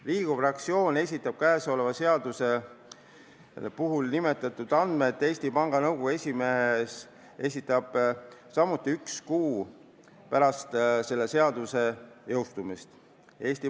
Riigikogu fraktsioon esitab käesolevas seaduses nimetatud andmed ja ka Eesti Panga Nõukogu esimees esitab vastavad andmed üks kuu pärast selle seaduse jõustumist.